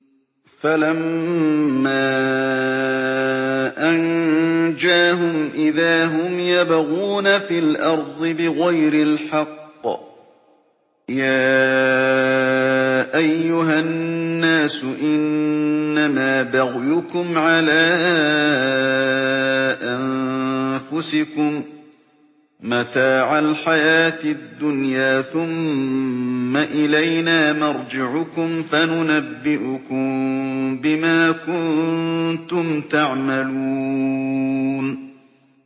فَلَمَّا أَنجَاهُمْ إِذَا هُمْ يَبْغُونَ فِي الْأَرْضِ بِغَيْرِ الْحَقِّ ۗ يَا أَيُّهَا النَّاسُ إِنَّمَا بَغْيُكُمْ عَلَىٰ أَنفُسِكُم ۖ مَّتَاعَ الْحَيَاةِ الدُّنْيَا ۖ ثُمَّ إِلَيْنَا مَرْجِعُكُمْ فَنُنَبِّئُكُم بِمَا كُنتُمْ تَعْمَلُونَ